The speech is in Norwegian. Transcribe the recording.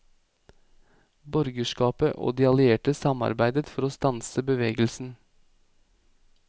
Borgerskapet og de allierte samarbeidet for å stanse bevegelsen.